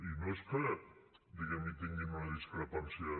i no és que diguem ne hi tinguin una discrepància